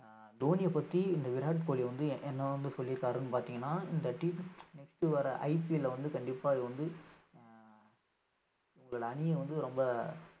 ஆஹ் தோனிய பத்தி இந்த விராட் கோலி வந்து என்~ என்ன வந்து சொல்லியிருக்காருன்னு பாத்தீங்கன்னா இந்த T twenty IPL அ வந்து கண்டிப்பா இது வந்து உங்கள் அணியை வந்து ரொம்ப